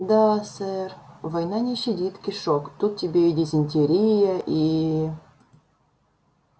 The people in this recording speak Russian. да сэр война не щадит кишок тут тебе и дизентерия и